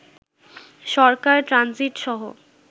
সরকার transit সহ